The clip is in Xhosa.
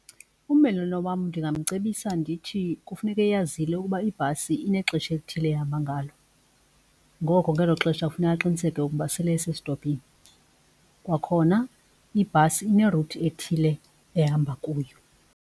Ummelwane wam ndingamcebisa ndithi kufuneka eyazile ukuba ibhasi inexesha elithile ehamba ngalo, ngoko ngelo xesha kufuneka aqiniseke ukuba sele esestopini. Kwakhona ibhasi ine-route ethile ehamba kuyo.